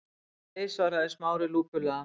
Nei- svaraði Smári lúpulega.